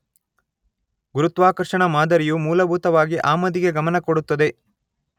ಗುರುತ್ವಾಕರ್ಷಣಾ ಮಾದರಿಯು ಮೂಲಭೂತವಾಗಿ ಆಮದಿಗೆ ಗಮನ ಕೊಡುತ್ತದೆ